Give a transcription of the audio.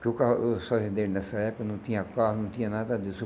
Porque o carro os fazendeiros nessa época não tinha carro, não tinha nada disso.